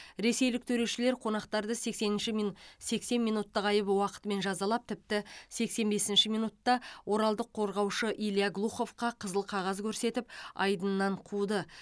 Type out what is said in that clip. ресейлік төрешілер қонақтарды сексенінші мин сексен минуттық айып уақытымен жазалап тіпті сексен бесінші минутта оралдық қорғаушы илья глуховқа қызыл қағаз көрсетіп айдыннан қуды